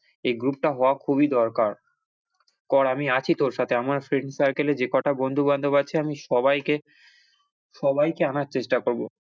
এই group টা হওয়া খুবই দরকার, কর আমি আছি তোর সাথে আমার friend circle এ যে কটা বন্ধু-বান্ধব আছে আমি সবাইকে সবাইকে আনার চেষ্টা করব।